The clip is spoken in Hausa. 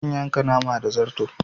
Zan yanka nama da zarto